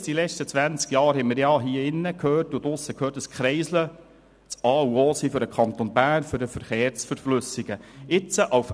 In den letzten zwanzig Jahren haben wir überall immer gehört, dass Kreisel für den Kanton Bern das A und O zur Verflüssigung des Verkehrs seien.